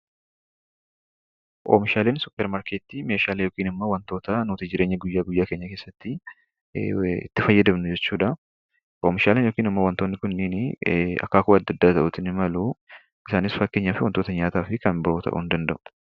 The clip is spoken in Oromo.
Oomishaaleen suuparmarketii meeshaalee yookiin wantootaa nuti jireenya guyyaa guyyaa keenya keessatti itti fayyadamnu jechuudha. Oomishaaleen kunneenis akaakuu adda adda ta'uu ni malu. Isaanis wantoota nyaataa fi kan biroo ta'uu ni danda'u.